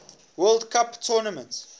world cup tournament